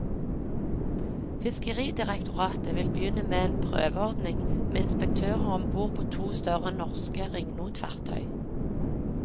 Fiskeridirektoratet vil begynne med en prøveordning med inspektører om bord på to større norske ringnotfartøy.